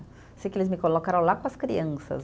Sei que eles me colocaram lá com as crianças.